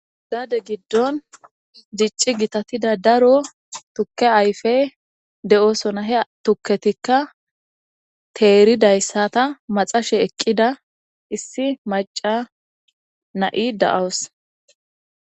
Gade gidon dicii gitatiza daro tuke ayipey de'osona he tuketika teridaysata maxashe eqida issi maca na'i da'awus